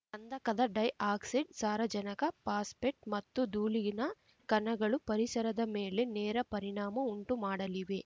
ಗಂಧಕದ dioxide ಸಾರಜನಕ phosphate ಮತ್ತು ಧೂಳಿನ ಕಣಗಳು ಪರಿಸರದ ಮೇಲೆ ನೇರ ಪರಿಣಾಮ ಉಂಟು ಮಾಡಲಿವೆ